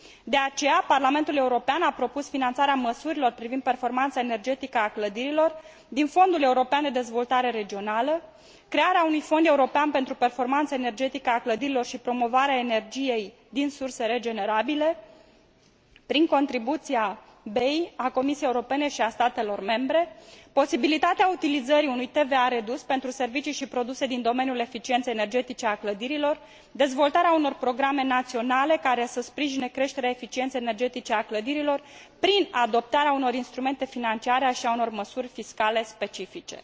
De aceea, Parlamentul European a propus finanțarea măsurilor privind performanța energetică a clădirilor din Fondul European de Dezvoltare Regională, crearea unui Fond European pentru Performanță Energetică a clădirilor și promovarea energiei din surse regenerabile prin contribuția BEI, a Comisiei Europene și a statelor membre, posibilitatea utilizării unui TVA redus pentru servicii și produse din domeniul eficienței energetice a clădirilor, dezvoltarea unor programe naționale care să sprijine creșterea eficienței energetice a clădirilor prin adoptarea unor instrumente financiare și a unor măsuri fiscale specifice.